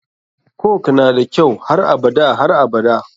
Coke nada kyau har abada har abada.